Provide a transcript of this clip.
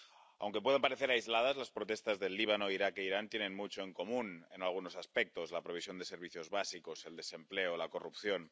Aunque puedan parecer aisladas, las protestas del Líbano, Irak e Irán tienen mucho en común en algunos aspectos la provisión de servicios básicos, el desempleo, la corrupción.